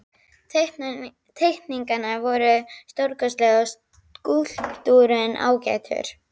Teikningarnar voru stórkostlegar og skúlptúrinn ágætur.